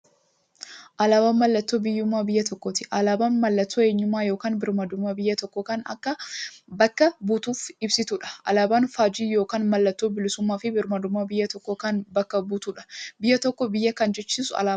Alaaban mallattoo biyyuummaa biyya tokkooti. Alaabaan mallattoo eenyummaa yookiin birmaadummaa biyya tokkoo kan bakka buutuuf ibsituudha. Alaaban faajjii yookiin maallattoo bilisuummaafi birmaadummaa biyya tokkoo kan bakka buutuudha. Biyya tokko biyya kan jechisisuu alaabadha.